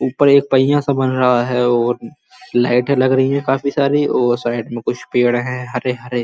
ऊपर एक पहिया सा बन रहा है और लाइटे लग रही हैं काफी सारी और साइड में कुछ पेड़ हैं हरे हरे।